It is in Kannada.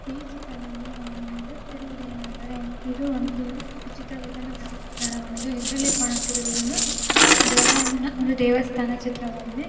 ಈ ಚಿತ್ರದಲ್ಲಿ ನಾವು ನೋಡುತಿರುಏನಂದ್ರೆ ಇದು ಒಂದು ಇದರಲ್ಲಿ ಕಾಣುತಿರುದ್ ಇದೊಂದು ಬೆಳಗಾಂನ ಒಂದು ದೇವಸ್ಥಾನ ಚಿತ್ರವಾಗಿದೆ .